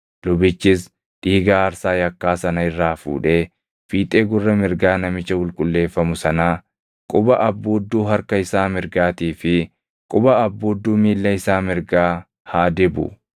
Lubichis dhiiga aarsaa yakkaa sana irraa fuudhee fiixee gurra mirgaa namicha qulqulleeffamu sanaa, quba abbuudduu harka isaa mirgaatii fi quba abbuudduu miilla isaa mirgaa haa dibu.